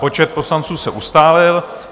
Počet poslanců se ustálil.